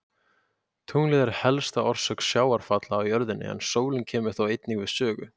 Tunglið er helsta orsök sjávarfalla á jörðinni en sólin kemur þó einnig við sögu.